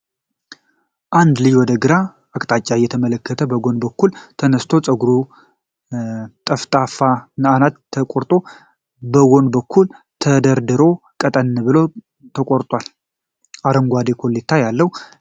አንድ ልጅ ወደ ግራ አቅጣጫ እየተመለከተ በጎን በኩል ተነስቶአል። ፀጉሩ በጠፍጣፋ አናት ተቆርጦ በጎን በኩል ተደርድሮ ቀጠን ብሎ ተቆርጧል፤ አረንጓዴ ኮሌታ ያለው ልብስ ለብሷል።